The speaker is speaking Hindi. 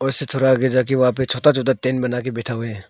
इसे थोड़ा आगे जाके वहां पे छोटा छोटा टेंट बनाके बैठा हुए हैं।